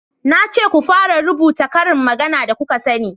na ce ku fara rubuta ƙarin magana da kuka sani!